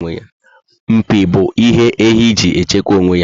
Mpi bu ihe ehi ji echekwa onwe ya